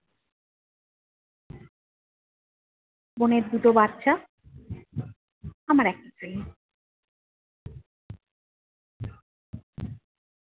বোনের দুটো বাচ্চা, আমার একটাই।